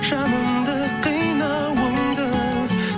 жанымды қинауыңды